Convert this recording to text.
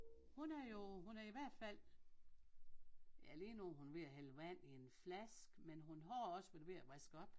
Hun er jo hun er i hvert fald ja lige nu er hun ved at hælde vand i en flaske men hun har også været ved at vaske op